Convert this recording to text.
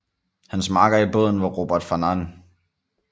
Hans makker i båden var Robert Farnan